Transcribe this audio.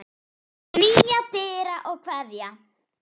Knýja dyra og kveðja.